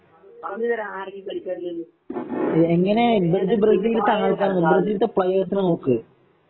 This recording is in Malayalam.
പറഞ്ഞു തരാം ആരൊക്കെയാ കളിക്കാരുള്ള എന്ന് ഏദൻ ഹസർഡ്